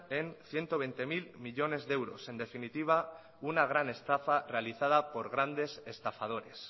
en ciento veinte mil millónes de euros en definitiva una gran estafa realizada por grandes estafadores